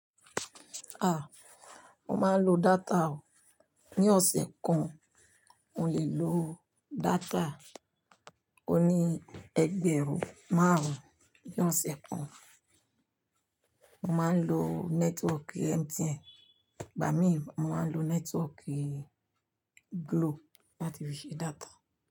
Ah! Mo máa ń lo data o. Ni ọ̀sẹ̀ kan, mo lè lo data oní ẹgbẹ̀rún márùn-ún. Ni ọ̀sẹ̀ kan, mo máa ń lo nẹ́tíwọ́ọ̀kì MTN, bami mo máa ń lo nẹ́tíwọ́ọ̀kì Glo láti fi ṣe data.